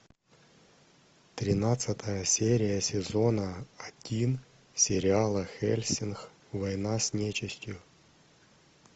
тринадцатая серия сезона один сериала хеллсинг война с нечистью